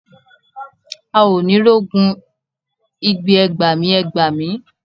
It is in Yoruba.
A ó ni rogun igbe ẹ gbàmí, ẹ gbàmí.